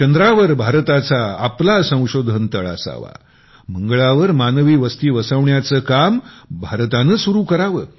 चंद्रावर भारताचा आपला संशोधन तळ असावामंगळावर मानवी वस्ती वसवण्याचे काम भारताने सुरु करावे